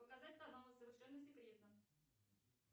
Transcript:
показать каналы совершенно секретно